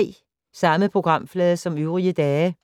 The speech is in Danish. Samme programflade som øvrige dage